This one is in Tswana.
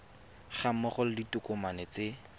ga mmogo le ditokomane tse